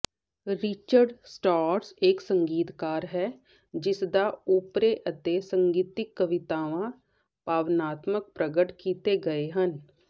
Richard Strauss ਇੱਕ ਸੰਗੀਤਕਾਰ ਹੈ ਜਿਸਦਾ ਓਪਰੇ ਅਤੇ ਸੰਗੀਤਿਕ ਕਵਿਤਾਵਾਂ ਭਾਵਨਾਤਮਕ ਪ੍ਰਗਟ ਕੀਤੇ ਗਏ ਹਨ